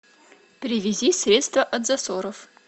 привези средство от засоров